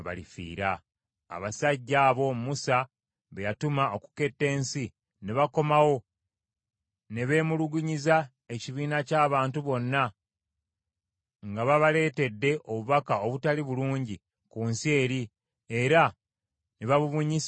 Abasajja abo Musa be yatuma okuketta ensi ne bakomawo ne beemulugunyiza ekibiina ky’abantu bonna nga babaleetedde obubaka obutaali bulungi ku nsi eri, era ne babubunyisa mu bantu,